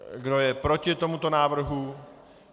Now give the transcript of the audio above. Kdo je proti tomuto návrhu?